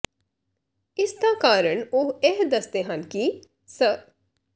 ਇਸ ਦਾ ਕਾਰਨ ਉਹ ਇਹ ਦੱਸਦੇ ਹਨ ਕਿ ਸ